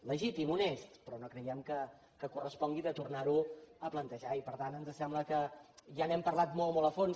legítim honest però no creiem que correspongui de tornar ho a plantejar i per tant ens sembla que ja n’hem parlat molt molt a fons